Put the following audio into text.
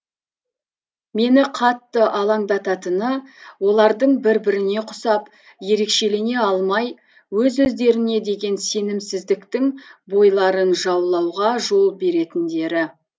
мені қатты алаңдататыны олардың бір біріне қусап ерекшелене алмай өз өздеріне деген сенімсіздіктің бойларын жаулауға жол беретіндері